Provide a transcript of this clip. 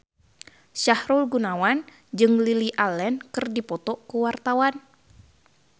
Sahrul Gunawan jeung Lily Allen keur dipoto ku wartawan